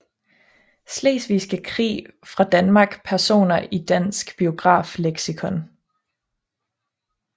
Slesvigske Krig fra Danmark Personer i Dansk Biografisk Leksikon